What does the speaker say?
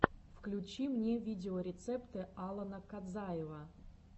включи мне видеорецепты алана кадзаева